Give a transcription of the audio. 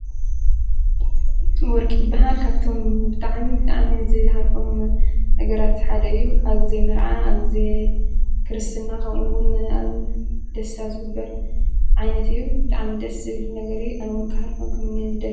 ወርቂ ይብሃል ካብቶም ብጥዓሚ ብጣዕሚ ዝሃርፎም ነገራት ሓደ እዩ። ኣብ ግዜ መርዓ ኣብ ግዜ ክርስትና ኸምኡውን ኣብ ደሣታ ዝግበር ዓይነት እዩ። ብጣዕሚ ደሥ ዝብል ነገር እዩ ኣይውን ክሃርፎም ክምነዮን ዝደል።